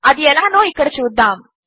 అది ఎలానో ఇక్కడ చూద్దాము